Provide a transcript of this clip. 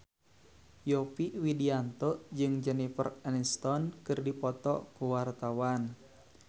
Yovie Widianto jeung Jennifer Aniston keur dipoto ku wartawan